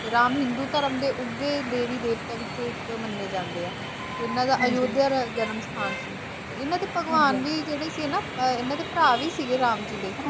ਰਾਮ ਹਿੰਦੂ ਧਰਮ ਦੇ ਉਗੇ ਦੇਵੀ - ਦੇਵਤਿਆਂ ਵਿੱਚੋਂ ਇੱਕ ਮੰਨੇ ਜਾਂਦੇ ਹੈ। ਇਹਨਾਂ ਦਾ ਅਯੋਧਿਆ ਜਨਮ ਅਹ ਸਥਾਨ ਸੀ ਇਹਨਾਂ ਦੇ ਭਗਵਾਨ ਵੀ ਜਿਹੜੇ ਸੀ ਨਾ, ਇਹਨਾਂ ਦੇ ਭਰਾ ਵੀ ਸੀਗੇ ਰਾਮ ਜੀ ਦੇ।